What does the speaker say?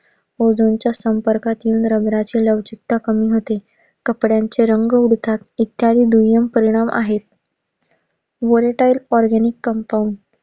Ozone च्या संपर्कात rubber ची लवचिकता कमी होते. कपड्यांचे रंग उडतात. इत्यादी दुष्परीणाम आहेत. Vertire organic compund